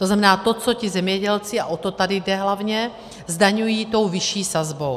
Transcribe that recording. To znamená, to, co ti zemědělci, a o to tady jde hlavně, zdaňují tou vyšší sazbou.